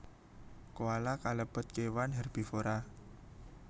Koala kalebet kewan hèrbivora